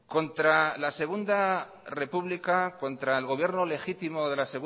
contra la segundo república contra el gobierno legítimo de la